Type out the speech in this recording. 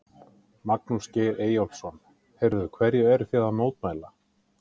Magnús Geir Eyjólfsson: Heyrðu, hverju eru þið að mótmæla?